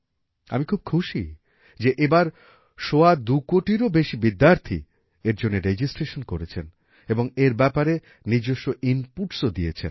আমি খুব খুশি যে এবার সওয়া দুকোটিরও বেশি বিদ্যার্থী এর জন্যে রেজিস্ট্রেশন করেছেন এবং এর ব্যাপারে নিজস্ব inputsও দিয়েছেন